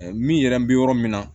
Min yɛrɛ bɛ yɔrɔ min na